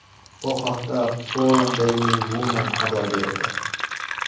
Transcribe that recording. Bu haqda Forum Daily Woman xabar berdi.